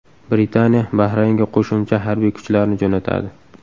Britaniya Bahraynga qo‘shimcha harbiy kuchlarni jo‘natadi.